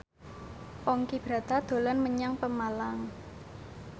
Ponky Brata dolan menyang Pemalang